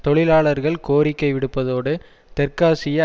தொழிலாளர்கள் கோரிக்கை விடுப்பதோடு தெற்காசிய